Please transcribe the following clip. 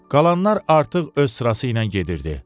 Qalanlar artıq öz sırası ilə gedirdi.